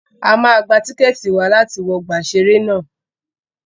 A máa gba tíkẹ̀tì wa láti wọ ọgbà ìṣẹ̀rẹ́ ná.